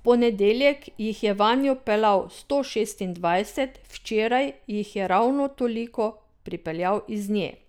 V ponedeljek jih je vanjo peljal sto šestindvajset, včeraj jih je ravno toliko pripeljal iz nje.